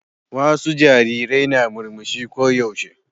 Wasu jarirai na murmushi ko yaushe.